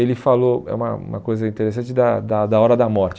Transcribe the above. Ele falou eh uma uma coisa interessante da da da hora da morte.